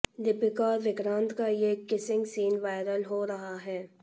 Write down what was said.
दीपिका और विक्रांत का ये किसिंग सीन वायरल हो रहा है